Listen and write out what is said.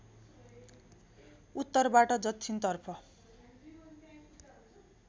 उत्तरबाट दक्षिणतर्फ